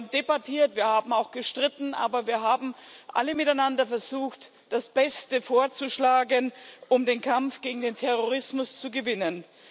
Wir haben debattiert, wir haben auch gestritten, aber wir haben alle miteinander versucht, das Beste vorzuschlagen, um den Kampf gegen den Terrorismus zu gewinnen.